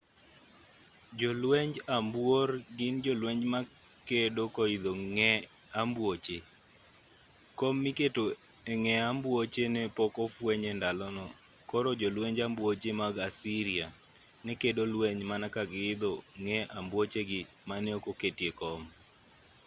jolwenj ambuor gin jolweny ma kedo koidho ng'e ambuoche kom miketo e ng'e ambuoche ne pok ofweny e ndalono koro jolwenj ambuoche mag assyria ne kedo lweny mana ka giidho ng'e ambuochegi mane ok oketie kom